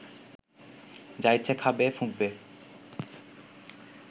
যা ইচ্ছে খাবে, ফুঁকবে